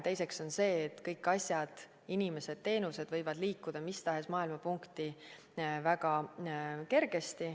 Teiseks on see, et kõik asjad, inimesed, teenused võivad väga kergesti liikuda mis tahes maailma punkti.